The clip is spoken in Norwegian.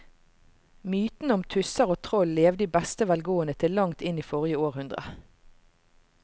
Mytene om tusser og troll levde i beste velgående til langt inn i forrige århundre.